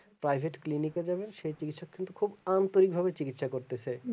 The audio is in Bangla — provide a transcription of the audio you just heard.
privet clinic এ যাবেন সেই চিকিৎসক কিন্তু খুব আন্তরিক ভাবে চিকিৎসা করতেছে